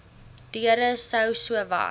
deure sou sowat